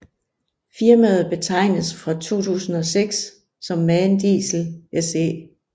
Firmaet betegnedes fra 2006 som MAN Diesel SE